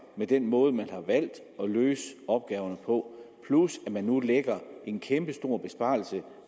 med den måde man har valgt at løse opgaverne på plus at man nu lægger en kæmpestor besparelse